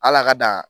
Ala ka dan